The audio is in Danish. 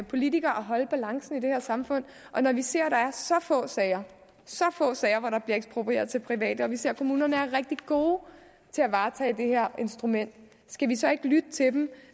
politikere at holde balancen i det her samfund når vi ser at der er så få sager så få sager hvor der bliver eksproprieret til private og vi ser at kommunerne er rigtig gode til at varetage det her instrument skal vi så ikke lytte til dem